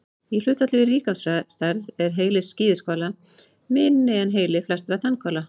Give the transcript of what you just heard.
Í hlutfalli við líkamsstærð er heili skíðishvala minni en heili flestra tannhvala.